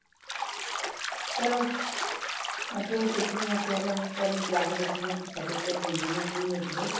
ਚਲੋ ਮੈਂ ਫ਼ੇਰ ਦੇਖਦੀ ਹਾਂ ਫ਼ੇਰ ਹੁਣ ਇੱਕ ਵਾਰੀ ਜਾ ਕੇ ਦੇਖਦੀ ਹਾਂ certificate ਦਿੰਦੇ ਨੇ ਨਹੀਂ ਦਿੰਦੇ